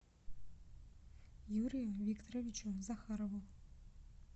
юрию викторовичу захарову